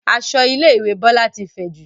Aṣọ ilé ìwé Bọlá ti fẹ̀jù